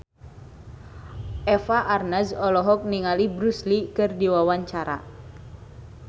Eva Arnaz olohok ningali Bruce Lee keur diwawancara